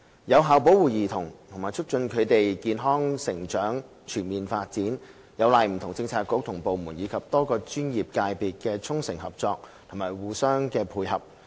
有效保護兒童和促進他們的健康成長和全面發展，有賴不同政策局和部門，以及多個專業界別的衷誠合作與互相配合。